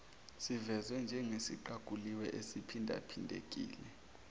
sivezwe njengesiqaguliwe esiphindaphindekile